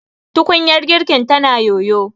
tukunyar girkin tana yoyo